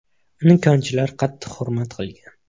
Uni konchilar qattiq hurmat qilgan.